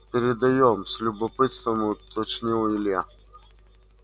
передаём с любопытством уточнил илья